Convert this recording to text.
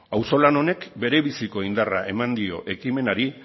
auzolan honek berebiziko indarra eman dio ekimenari